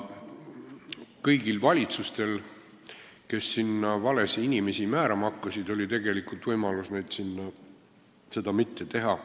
Kõigil valitsustel, kes sinna valesid inimesi määrama hakkasid, oli tegelikult võimalus seda mitte teha.